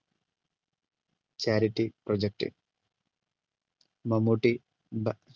chaity project Mammootty ബാ